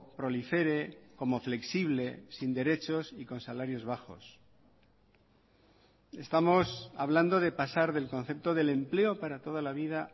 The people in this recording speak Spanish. prolifere como flexible sin derechos y con salarios bajos estamos hablando de pasar del concepto del empleo para toda la vida